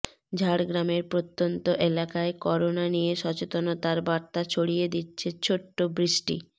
ঝাড়গ্রামের প্রত্যন্ত এলাকায় করোনা নিয়ে সচেতনতার বার্তা ছড়িয়ে দিচ্ছে ছোট্ট বৃষ্টি